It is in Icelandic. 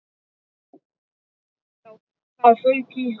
Það fauk í hann.